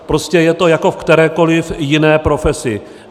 Prostě je to jako v kterékoliv jiné profesi.